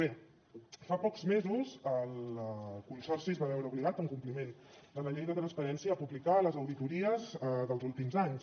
bé fa pocs mesos el consorci es va veure obligat en compliment de la llei de transparència a publicar les auditories dels últims anys